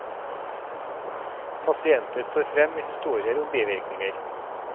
Pasienter står frem med historier om bivirkninger.